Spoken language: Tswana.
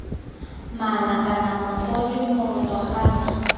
mala kana mogodu moroto gala